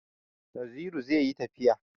Naziru zai yi tafiya